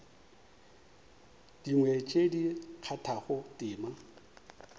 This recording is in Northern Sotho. dingwe tše di kgathago tema